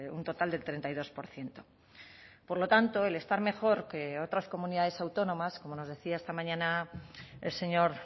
un total del treinta y dos por ciento por lo tanto el estar mejor que otras comunidades autónomas como nos decía esta mañana el señor